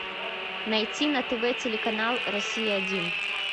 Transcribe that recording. найти на тв телеканал россия один